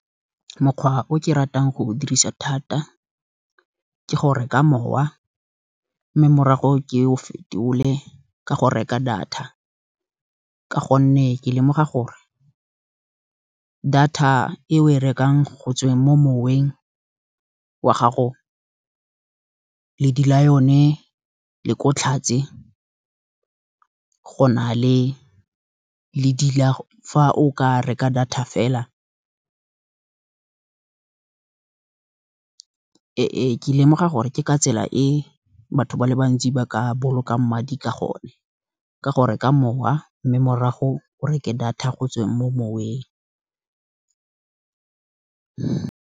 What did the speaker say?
Mokgwa o ke ratang go o dirisa thata ke go reka mowa, morago ke o fetole ka go reka data. Ka gonne ke lemoga gore data e o e rekang go tsweng mo moweng wa gago, ledi la yone le ko tlhatse go na le ledi la fa o ka reka data fela. Ke lemoga gore ke ka tsela e batho ba le bantsi, ba ka bolokang madi ka gone, ka gore ka mowa mme morago o reke data go tsweng mo moweng.